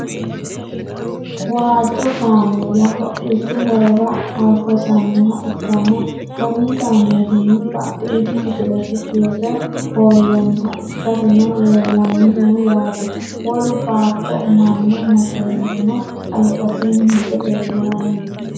waajjo kaameela hodhishshu horora hosannoha ikkanna, konni kaameelinni badhiidi kifilesi tirre hoolonniha ikkasino leelanni no yaate, wolu baatto umanno makeenino albasiinni hige leelanni no.